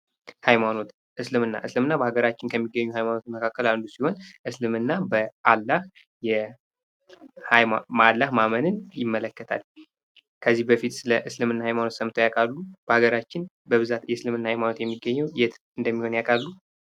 ሃይማኖት እስልምና እስልምና በሃገራችን ከሚገኙ ሀይማኖት መካከል አንዱ ሲሆን እስልምና በዓላህ ማመንን ይመለከታል። ከዚህ በፊት ስለ እስልምና ሃይማኖት ሰምተው ያውቃሉ? በሀገራችን በብዛት የእስልምና ሃይማኖት የሚገኘው የት እንደሚሆን ያውቃሉ?